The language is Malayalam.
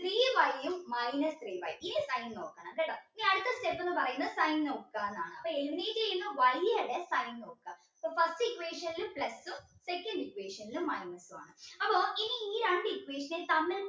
three y ഉം minus three y ഈ sign നോക്കണം കേട്ടോ ഇനി അടുത്ത step ന്ന് പറയുന്നത് sign നോക്കാനാണ് അപ്പോ Y ടെ sign നോക്ക അപ്പോ first equation ൽ plus ഉം second equation ൽ minus ഉം ആണ് അപ്പോ ഇനി ഈ രണ്ട് equation തമ്മിൽ